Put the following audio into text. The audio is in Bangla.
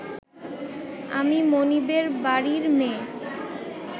আমি মনিবের বাড়ির মেয়ে